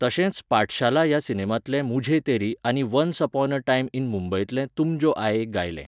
तशेंच पाठशाला ह्या सिनेमांतलें मुझे तेरी आनी once upon a time in मुंबईतलें तुम जो आये गायलें.